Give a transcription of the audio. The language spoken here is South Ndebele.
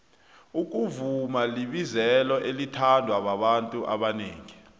ukuvuma libizelo elithandwa babantu abanengi